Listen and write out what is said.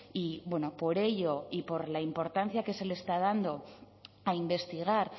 y por ello y por la importancia que se le está dando a investigar